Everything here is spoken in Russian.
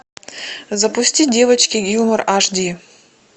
запусти девочки гилмор аш ди